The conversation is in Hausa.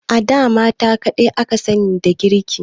A da mata kadai aka sani da girki